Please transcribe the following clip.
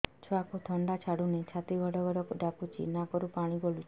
ଛୁଆକୁ ଥଣ୍ଡା ଛାଡୁନି ଛାତି ଗଡ୍ ଗଡ୍ ଡାକୁଚି ନାକରୁ ପାଣି ଗଳୁଚି